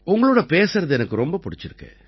உங்களோட பேசுவது எனக்கு ரொம்ப பிடிச்சிருக்கு